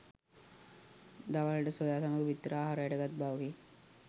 දවාලට soya සමග බිත්තර ආහාරයට ගත් බවකි